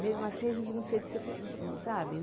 Mesmo assim, a gente não se decepcionou, sabe?